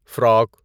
frock